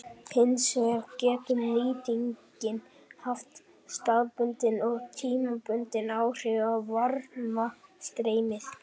Hins vegar getur nýtingin haft staðbundin og tímabundin áhrif á varmastreymið.